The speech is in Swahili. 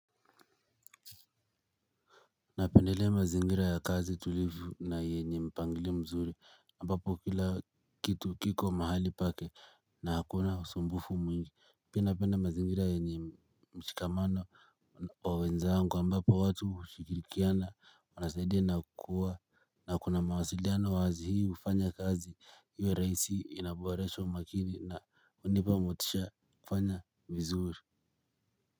Napendelea mazingira ya kazi tulivu na yenye mpangilio mzuri ambapo kila kitu kiko mahali pake na hakuna usumbufu mwingi pia napenda mazingira yenye mshikamano wa wenzangu ambapo watu shikirikiana wanasaidiae na kukua na kuna mawasiliano wazi hii hufanya kazi iwe rahisi inaboresha umakini na hunipa motisha kufanya vizuri.